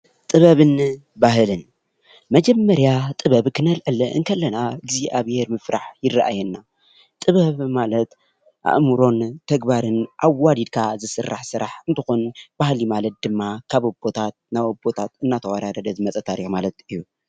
ጥበብን ባህልን መጀመሪያ ጥበብ ክነልዕል ከለና እግዚኣብሔር ምፍራሕ ይረእየና፡፡ ጥበብ ማለት አእምሮን ተግባርን አዋዲድካ ዝስራሕ ስራሕ እንትኾን ባህሊ ማለት ድማ ካብ አቦታት ናብ አቦታት እናተዋራረደ ዝመፃ ታሪኽ ማለት እዩ፡፡